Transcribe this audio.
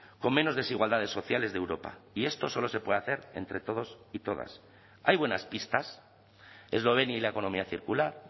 con menos desigualdades sociales de europa y esto solo se puede hacer entre todos y todas hay buenas pistas eslovenia y la economía circular